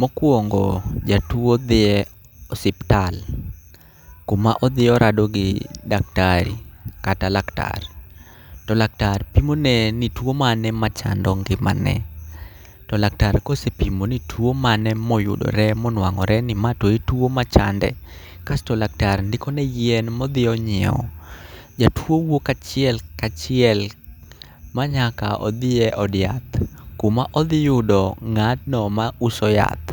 Mokwongo, jatuo dhie osiptal kuma odhi orado gi daktari kata laktar. To laktar pimone ni tuo mane machando ngimane. To laktar kosepimo ni tuo mane moyudore monwang'ore ni ma to e tuo machande. Kasto laktar ndikone yien modhi onyiewo, jatuo wuok achiel kachiel manyaka odhi e od yath. Kuma odhi yudo ng'atno ma uso yath,